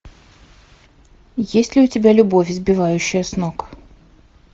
есть ли у тебя любовь сбивающая с ног